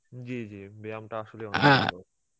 জী জী ব্যায়ামটা আসলে অনেক ভালো